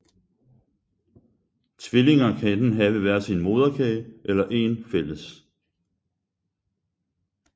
Tvillinger kan enten have hver sin moderkage eller én fælles